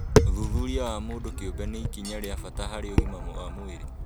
ũthuthuria wa mũndũ kĩũmbe nĩ ikinya rĩa bata harĩ ũgima wa mwĩrĩ